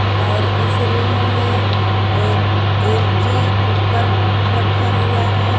और इस रूम में एल_जी कुकर रखा हुआ है।